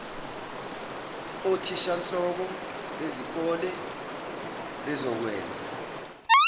othishanhloko bezikole bezokwenza